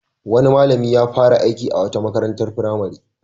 Wani malami ya fara aiki a wata makarantar firamare.